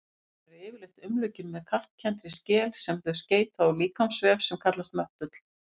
Dýrin eru yfirleitt umlukin með kalkkenndri skel sem þau seyta úr líkamsvef sem kallast möttull.